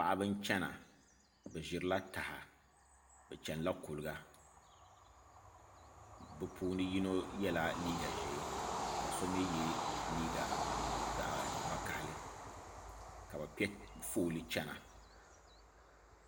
Paɣaba n chɛna bi ʒirila taha bi chɛnila kuliga bi puuni yino yɛla liigq ʒiɛ ka so mii yɛ liiga zaɣ vakaɣali ka bi piɛ fooli chɛna